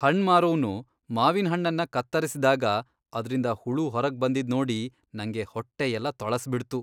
ಹಣ್ಣ್ ಮಾರೋವ್ನು ಮಾವಿನ್ಹಣ್ಣನ್ನ ಕತ್ತರಿಸ್ದಾಗ ಅದ್ರಿಂದ ಹುಳು ಹೊರಗ್ಬಂದಿದ್ ನೋಡಿ ನಂಗೆ ಹೊಟ್ಟೆ ಎಲ್ಲ ತೊಳಸ್ಬಿಡ್ತು.